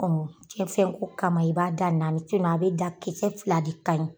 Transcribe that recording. cɛn fɛn ko kama i b'a dan naani a bɛ dan kisɛ fila de ka ɲi.